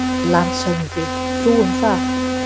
LANDSHÖFÐINGI: Þú um það!